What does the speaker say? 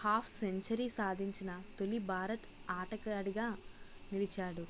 half century సాధించిన తొలి భారత ఆటగాడిగా నిలిచాడు